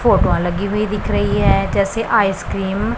फोटवा लगी हुई दिख रही है जैसे आइसक्रीम --